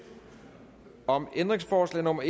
om ændringsforslag nummer